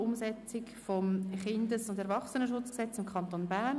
Umsetzung des Kindes- und Erwachsenenschutzgesetzes im Kanton Bern».